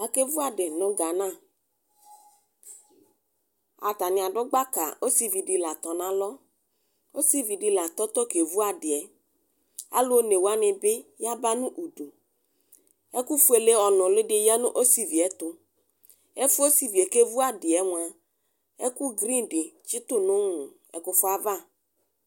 Akevʋ adi nʋ gana atani adʋ gbaka ɔsividi la atɔ nʋ alɔ ɔsidi la atɔtɔ kevʋ adi yɛ alʋ one wani bi yaba nʋ ʋdʋ ɛkʋ fueke ɔnʋli di yanʋ ɔsivi ɛtʋ ɛfʋ yɛ ɔsivie kevʋ adiyɛ mʋa ɛkʋ grin di tsutʋ nʋ ɛkʋfʋava